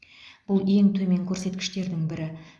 бұл ең төмен көрсеткіштердің бірі